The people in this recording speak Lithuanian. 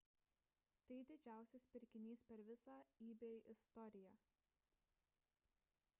tai didžiausias pirkinys per visą ebay istoriją